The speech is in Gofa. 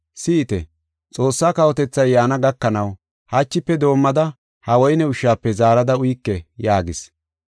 Si7ite! Xoossaa kawotethay yaana gakanaw hachife doomada ha woyne ushshafe zaarada uyike” yaagis.